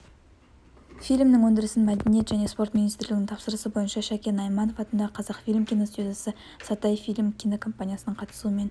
фильмнің өндірісін мәдениет және спорт министрлігінің тапсырысы бойынша шәкен айманов атындағы қазақфильм киностудиясы сатай фильм кинокомпаниясының қатысуымен